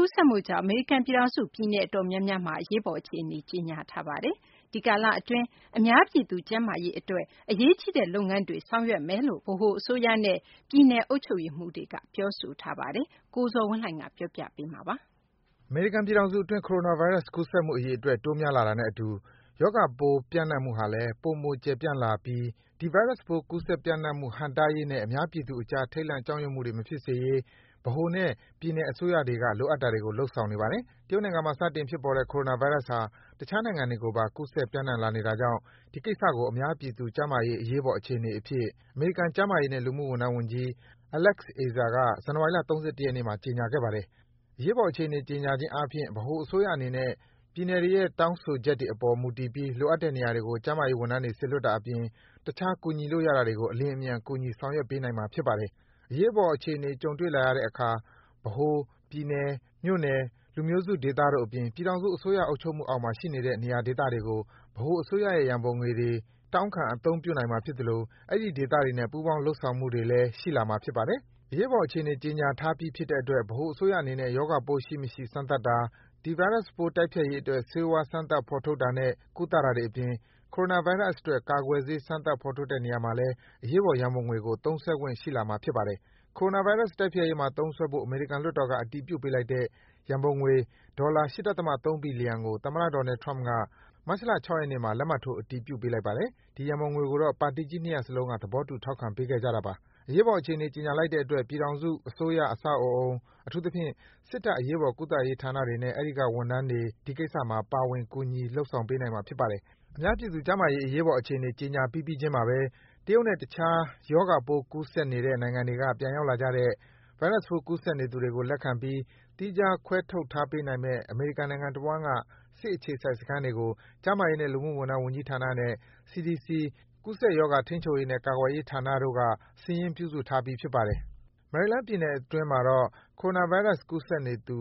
ကူးစက်မှုကြောင့် အမေရိကန်ပြည်ထောင်စု ပြည်နယ်အတော်များများမှာ အရေးပေါ်အခြေအနေ ကြေညာလိုက်ပါတယ်။ ဒီကာလအတွင်းမှာ အများပြည်သူကျန်းမာရေးအတွက် အရေးကြီးတဲ့လုပ်ငန်းတွေ ဆောင်ရွက်သွားမယ်လို့ ဗဟိုအစိုးရနဲ့ ပြည်နယ်အုပ်ချုပ်ရေးမှူးတွေက ပြောဆိုထားပါတယ်။ အပြည့်အစုံကိုတော့ ကိုဇော်ဝင်းလှိုင်က တင်ပြပေးပါမယ်။ အမေရိကန်ပြည်ထောင်စုအတွင်း Coronavirus ကူးစက်မှုအရေအတွက် တိုးများလာတာနဲ့အတူ ရောဂါပိုး ပျံ့နှံ့မှုဟာလည်း ပိုမို ကျယ်ပြန့်လာပြီး ဒီဗိုင်းရပ်စ်ပိုး ကူးစက်ပျံ့နှံ့မှုဟန့်တားရေးနဲ့ အများပြည်သူအကြား ထိတ်လန့် ကြောက်ရွံ့မှု မဖြစ်စေရေး ဗဟိုနဲ့ ပြည်နယ်အစိုးရတွေက လိုအပ်တာတွေကို လုပ်ဆောင်နေပါတယ်။ တရုတ်နိုင်ငံမှာ စတင်ဖြစ်ပေါ်တဲ့ Coronavirus ဟာ တခြားနိုင်ငံတွေကိုပါ ကူးစက် ပျံ့နှံ့ လာနေတာကြောင့် ဒီကိစ္စကို အများပြည်သူ ကျန်းမာရေး အရေးပေါ်အခြေအနေအဖြစ် အမေရိကန် ကျန်းမာရေးနဲ့ လူမှုဝန်ထမ်းဝန်ကြီး Alex Azar က ဇန်နဝါရီလ ၃၁ ရက်နေ့မှာ ကြေညာခဲ့ပါတယ်။ အရေးပေါ်အခြေအနေ ကြေညာခြင်းအားဖြင့် ဗဟိုအစိုးရအနေနဲ့ ပြည်နယ်တွေရဲ့ တောင်းဆိုချက်တွေ အပေါ်မူတည်ပြီး လိုအပ်တဲ့နေရာတွေကို ကျန်းမာရေးဝန်ထမ်းတွေ စေလွတ်တာအပြင် တခြား ကူညီလို့ရတာတွေကို အလျင်အမြန် ကူညီ ဆောင်ရွက်ပေးနိုင်မှာ ဖြစ်ပါတယ်။ အရေးပေါ်အခြေအနေ ကြုံတွေ့လာရတဲ့အခါ ဗဟို၊ ပြည်နယ်၊ မြို့နယ်၊ လူမျိုးစုဒေသတို့အပြင် ပြည်ထောင်စု အစိုးရ အုပ်ချုပ်မှုအောက်မှာ ရှိနေတဲ့ နေရာဒေသတွေကို ဗဟိုအစိုးရရဲ့ ရန်ပုံငွေတွေကို တောင်းခံ အသုံးပြုနိုင်မှာဖြစ်သလို အဲဒီဒေသတွေနဲ့ ပူးပေါင်း လုပ်ဆောင်မှုတွေလည်း ရှိလာမှာ ဖြစ်ပါတယ်။ အရေးပေါ်အခြေအနေ ကြေညာထားပြီးဖြစ်တဲ့အတွက် ဗဟိုအစိုးရအနေနဲ့ ရောဂါပိုးရှိမရှိ စမ်းသပ်တာ၊ ဒီဗိုင်းရပ်စ်ပိုး တိုက်ဖျက်ရေးအတွက် ဆေးဝါး စမ်းသပ် ဖော်ထုတ်တာနဲ့ ကုသတာတွေ အပြင် Coronavirus အတွက် ကာကွယ်ဆေး စမ်းသပ် ဖော်ထုတ်တဲ့နေရာမှာ အရေးပေါ် ရန်ပုံငွေကို သုံးစွဲခွင့် ရှိလာမှာ ဖြစ်ပါတယ်။ အရေးပေါ်အခြေအနေကြေညာလိုက်တဲ့အတွက် ပြည်ထောင်စုအစိုးရအဆောက်အဦး၊ အထူးသဖြင့် စစ်တပ်အရေးပေါ်ကုသရေးဌာနတွေနဲ့ အဲဒီက ဝန်ထမ်းတွေ ဒီကိစ္စမှာ ပါဝင် ကူညီ လုပ်ဆောင် ပေးနိုင်မှာ ဖြစ်ပါတယ်။ အများပြည်သူကျန်းမာရေး အရေးပေါ်အခြေအနေ ကြေညာပြီးပြီးချင်းမှာဘဲ တရုတ်နဲ့ တခြား ရောဂါပိုး ကူးစက်နေတဲ့ နိုင်ငံတွေက ပြန်ရောက်လာကြတဲ့ ဗိုင်းရပ်စ်ပိုး ကူးစက်နေသူတွေကို လက်ခံပြီး သီးခြား ခွဲထုတ်ထားပေးနိုင်မယ့် အမေရိကန်နိုင်ငံတဝှမ်းက စစ်အခြေစိုက် စခန်းတွေကို ကျန်းမာရေးနဲ့ လူမှု ဝန်ထမ်း ဝန်ကြီးဌာနနဲ့ CDC ကူးစက်ရောဂါ ထိန်းချုပ်ရေးနဲ့ ကာကွယ်ရေးဌာနတို့က စာရင်း ပြုစုထားပြီး ဖြစ်ပါတယ်။ မယ်ရီလန်းပြည်နယ်အတွင်းမှာတော့ Coronavirus ကူးစက်နေသူ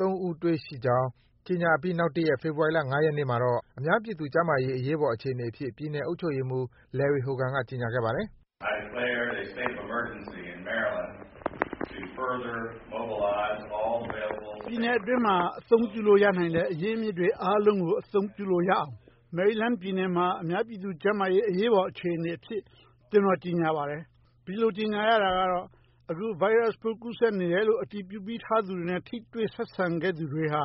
၃ ဦးတွေ့ခဲ့ကြောင်း ကြေညာပြီးနောက်တရက် ဖေဖော်ဝါရီလ ၅ ရက်နေ့မှာ အများပြည်သူကျန်းမာရေး အရေးပေါ်အခြေအနေအဖြစ် ပြည်နယ်အုပ်ချုပ်ရေးမှူး Larry Hogan က ကြေညာခဲ့ပါတယ်။ “ပြည်နယ်အတွင်းမှာ အသုံးပြုလို့ရနိုင်တဲ့ အရင်းအမြစ်တွေအားလုံးကို အသုံးချလို့ရနိုင်အောင် မယ်ရီလန်းပြည်နယ်မှာ အများအပြည်သူကျန်းမာရေး အရေးပေါ်အခြေအနေအဖြစ် ကျနော် ကြေညာလိုက်ပါတယ်။ ဒီလိုကြေညာရတာကတော့ အခု ဗိုင်းရပ်စ်ပိုး ကူးစက်နေတယ်လို့ အတည်ပြုထားပြီးသူတွေနဲ့ ထိတွေ့ ဆက်ဆံခဲ့သူတွေဟာ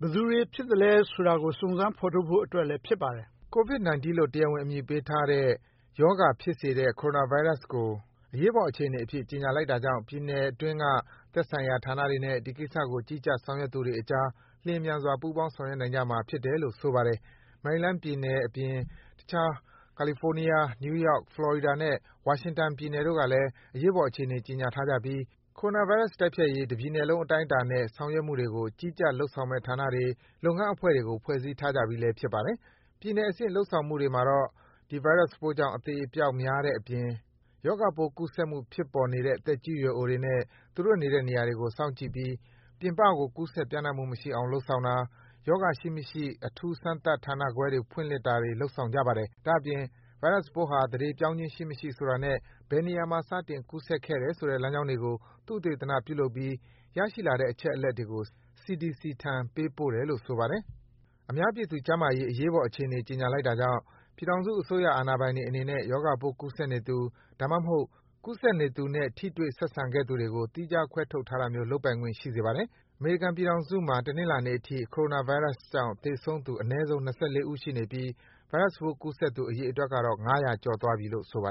ဘယ်သူတွေဖြစ်သလဲဆိုတာကို စုံစမ်း ဖော်ထုတ်ဖို့အတွက်လဲ ဖြစ်ပါတယ်။” Covid-19 လို့ တရားဝင်အမည်ပေးထားတဲ့ ရောဂါဖြစ်စေတဲ့ Coronavirus ကို အရေးအပေါ် အခြေအနေ အဖြစ် ကြေညာလိုက်တာကြောင့် ပြည်နယ်အတွင်းက သက်ဆိုင်ရာဌာနတွေနဲ့ ဒီကိစ္စကို ကြီးကြပ် ဆောင်ရွက်သူတွေအကြား လျင်မြန်စွာ ပူးပေါင်း ဆောင်ရွက်နိုင်ကြမှာ ဖြစ်တယ်လို့ ဆိုပါတယ်။ မယ်ရီလန်းအပြင် တခြား ကာလီဖိုးနီးယား၊ နယူးယောက်၊ ဖလော်ရီဒါနဲ့ ဝါရှင်တန်ပြည်နယ်တို့ကလည်း အရေးပေါ်အခြေအနေ ကြေညာထားကြပြီး Coronavirus တိုက်ဖျက်ရေး တပြည်နယ်လုံး အတိုင်းအတာနဲ့ ဆောင်ရွက်နေမှုတွေကို ကြီးကြပ် လုပ်ဆောင်မယ့်ဌာနတွေ၊ လုပ်ငန်းအဖွဲ့တွေကို ဖွဲ့စည်းထားကြပြီးလည်း ဖြစ်ပါတယ်။ ပြည်နယ်အဆင့် လုပ်ဆောင်မှုတွေမှာတော့ ဒီဗိုင်းရပ်စ်ပိုးကြောင့် အသေအပျောက်များတဲ့အပြင် ရောဂါပိုး ကူးစက်မှုဖြစ်ပေါ်နေတဲ့ သက်ရွယ်အိုတွေနဲ့ သူတို့နေတဲ့ နေရာတွေကို စောင့်ကြည့်ပြီး ပြင်ပကို ကူးစက် ပျံ့နှံ့မှုမရှိအောင် လုပ်ဆောင်တာ၊ ရောဂါရှိမရှိ အထူးစမ်းသပ်တဲ့ဌာနတွေ ဖွင့်လှစ် တာတွေ လုပ်ဆောင်နေကြပါတယ်။ ဒါ့အပြင် ဗိုင်းရပ်စ်ပိုးဟာ သန္ဓေပြောင်းခြင်းရှိမရှိ ဆိုတာနဲ့ ဘယ်နေရာက စတင်ကူးစက်ခဲ့တယ်ဆိုတဲ့ လမ်းကြောင်းတွေကို သုတေသနပြုလုပ်ပြီး ရရှိလာတဲ့အချက်အလက်တွေကို CDC ထံ ပေးပို့တယ်လို့ ဆိုပါတယ်။ အများပြည်သူကျန်းမာရေးအတွက် အရေးပေါ်အခြေအနေ ကြေညာလိုက်တာကြောင့် ပြည်ထောင်စုအစိုးရ အာဏာပိုင်တွေအနေနဲ့ ရောဂါပိုး ကူးစက်နေသူ၊ ဒါမှမဟုတ် ကူးစက်နေသူနဲ့ ထိတွေ့ ဆက်ဆံခဲ့သူတွေကို သီးခြား ခွဲထုတ်ထားတာမျိုး လုပ်ပိုင်ခွင့်ရှိစေပါတယ်။ အမေရိကန်ပြည်ထောင်စုမှာ တနင်္လာနေ့အထိ Coronavirus ကြောင့် သေဆုံးသူ အနည်းဆုံး ၂၄ ဦး ရှိနေပြီး ဗိုင်းရပ်စ်ပိုးကူးစက်သူ အရေအတွက်ကတော့ ၅၀၀ ကျော်သွားပြီလို့ ဆိုပါ